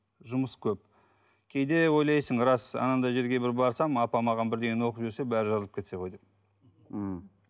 жұмыс көп кейде ойлайсың рас анандай жерге бір барсам апа маған бірдеңені оқып жіберсе барлығы жазылып кетсе ғой деп мхм